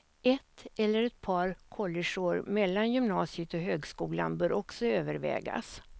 Ett eller ett par collegeår mellan gymnasiet och högskolan bör också övervägas.